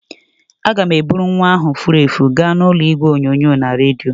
Aga m eburu nwa ahụ furu efu gaa n'ụlọ igwe onyonyo na redio.